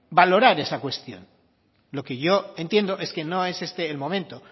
valorar esta cuestión lo que yo entiendo es que no es este el momento